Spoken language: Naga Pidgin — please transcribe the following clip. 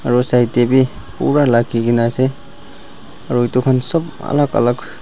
aru side tae bi pura lakikae na ase aru edu khan sop alak alak.